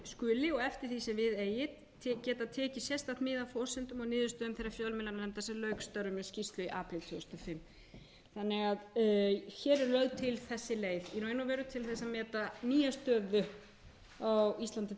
skuli og eftir því sem við eigi geta tekið sérstakt mið af forsendum og niðurstöðum þeirrar fjölmiðlanefndar sem lauk störfum með skýrslu í apríl tvö þúsund og fimm hér er því lögð til þessi leið í raun og veru til þess að meta nýja stöðu á íslandi